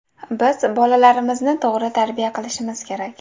Biz bolalarimizni to‘g‘ri tarbiya qilishimiz kerak.